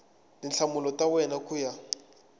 tinhlamulo ta wena ku ya